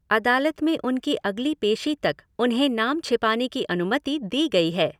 अदालत में उनकी अगली पेशी तक उन्हें नाम छिपाने की अनुमति दी गई है।